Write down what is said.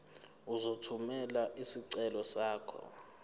uzothumela isicelo sakho